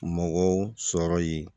Mɔgɔw sɔrɔ ye